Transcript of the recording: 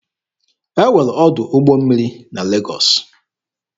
E nwere ọdụ ụgbọ mmiri na Legọọsị.